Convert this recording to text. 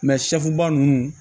sɛfuba ninnu